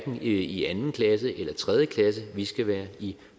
i anden klasse eller i tredje klasse vi skal være i